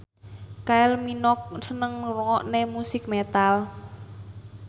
Kylie Minogue seneng ngrungokne musik metal